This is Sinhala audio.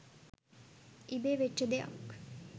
ඉබේ වෙච්චි දෙයක්..